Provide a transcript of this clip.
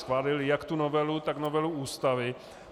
Schválili jak tu novelu, tak novelu Ústavy.